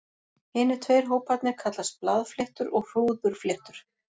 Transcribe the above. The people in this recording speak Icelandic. Hinir tveir hóparnir kallast blaðfléttur og hrúðurfléttur.